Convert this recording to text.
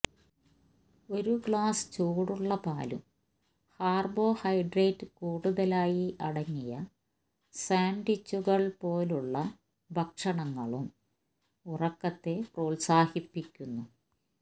ഒരു ഗ്ലാസ് ചൂടുള്ള പാലും കാർബോഹൈഡ്രേറ്റ് കൂടുതലായി അടങ്ങിയ സാൻഡ്വിച്ചുകൾ പോലുള്ള ഭക്ഷണങ്ങളും ഉറക്കത്തെ പ്രോത്സാഹിപ്പിക്കുന്നു